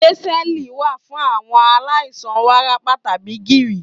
Bẹ̀ńsẹ̀ẹ̀lì wà fún àwọn aláìsàn wárápá tàbí gìrì.